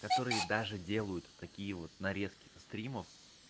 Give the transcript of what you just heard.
которые даже делают такие вот нарезки со стримов